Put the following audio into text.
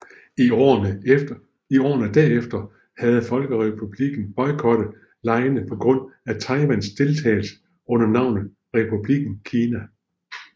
I årene derefter havde Folkerepublikken boykottet legene på grund af Taiwans deltagelse under navnet Republikken Kina